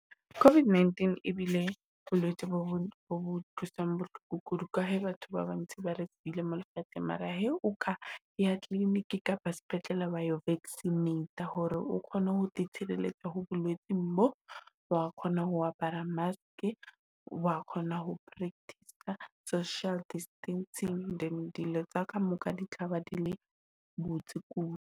COVID-19 ebile bolwetse bo bo utlwisang bohloko kudu, ka he batho ba bantshi ba re sile mo lefatsheng. Mara he o ka ya clinic kapa sepetlele wayo vaccinate-a hore o kgone ho te tshireletsa ho bolwetse bo. Wa kgona ho apara mask wa kgona ho practice-a social distancing, than dilo tsa ka moka di tlaba di le botse kudu.